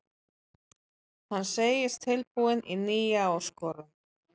Hann segist tilbúinn í nýja áskorun.